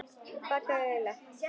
Bakaðir laukar